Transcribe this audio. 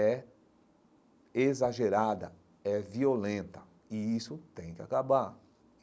é exagerada, é violenta, e isso tem que acabar.